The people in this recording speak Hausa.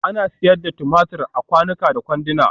Ana sayar da tumatur a kwanuka da kwanduna